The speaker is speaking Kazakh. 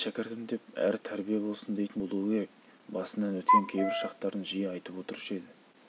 мені шәкіртім деп әрі тәрбие болсын дейтін болуы керек басынан өткен кейбір шақтарын жиі айтып отырушы еді